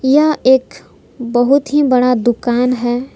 यह एक बहुत ही बड़ा दुकान है।